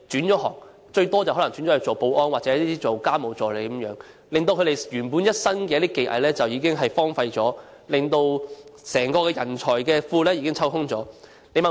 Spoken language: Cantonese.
他們大多可能轉職保安或家務助理，令他們原本的一身技藝荒廢了，也令整個人才庫被抽空。